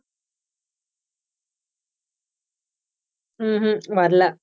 ம்ஹும் வரல